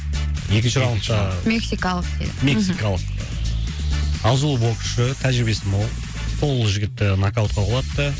екінші раундта мексикалық деді мексикалық азулы боксшы тәжірибесі мол сол жігітті нокаутқа құлатты